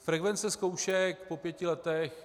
Frekvence zkoušek po pěti letech.